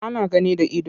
Ana gani da ido.